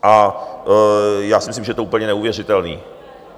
A já si myslím, že je to úplně neuvěřitelný.